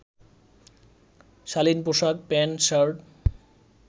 শালীন পোশাক প্যান্ট-শার্ট